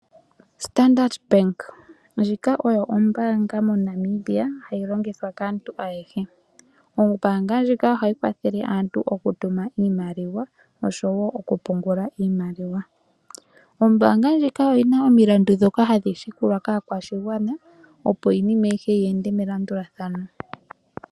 Standard bank, ndjika oyo ombaanga mo Namibia hayi longithwa kaantu ayehe. Ombaanga ndjika ohayi kwathele aantu okutuma iimaliwa oshowo okupungula iimaliwa, ombaanga ndjika oyi na omilandu ndhoka hadhi landulwa kaakwashigwana, opo iinima ayihe yi ende melandulathano.